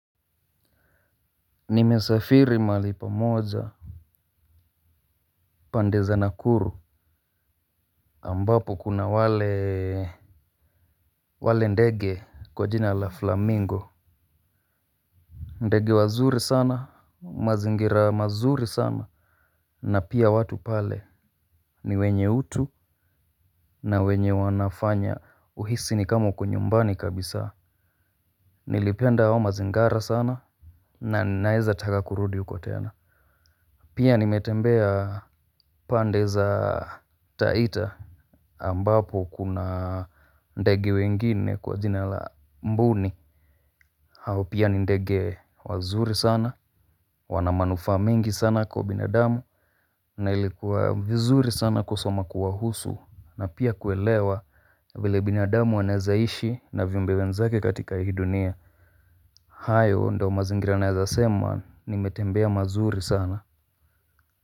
Nimesafiri mahali pamoja. Pande za nakuru ambapo kuna wale wale ndege kwa jina la flamingo ndege wazuri sana mazingira mazuri sana. Na pia watu pale ni wenye utu. Na wenye wanafanya uhisi ni kama uko nyumbani kabisa. Nilipenda hao mazingara sana na naeza taka kurudi uko tena. Pia nimetembea pande za taita ambapo kuna ndege wengine kwa jina la mbuni. Hao pia ni ndege wazuri sana. Wana manufaa mingi sana kwa binadamu. Na ilikuwa vizuri sana kusoma kuwahusu. Na pia kuelewa vile binadamu wanaeza ishi na viumbe wenzake katika hii dunia. Hayo ndo mazingira naezasema nimetembea mazuri sana.